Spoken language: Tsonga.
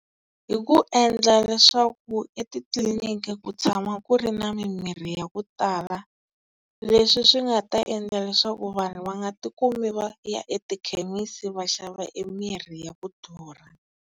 Hi ku endla leswaku etitliliniki ku tshama ku ri na mimirhi ya ku tala, leswi swi nga ta endla leswaku vanhu va nga tikumi va ya etikhemisi va xava emirhi ya ku durha.